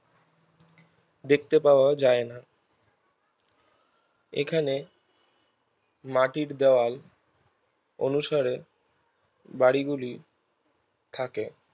দেখতে পাওয়া যায় না এখানে মাটির দেওয়াল অনুসারে বাড়িগুলি থাকে